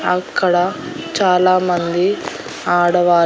అక్కడ చాలా మంది ఆడవా--